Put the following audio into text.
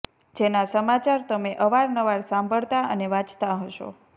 જેના સમાચાર તમે અવાર નવાર સાંભળતાં અને વાચતા હશો